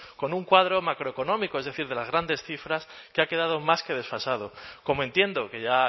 con un cuadro macroeconómico es decir de las grandes cifras que ha quedado más que desfasado como entiendo que ya